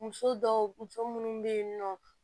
Muso dɔw muso muso munnu be yen nɔ